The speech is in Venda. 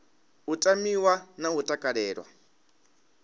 u tamiwa na u takalelwa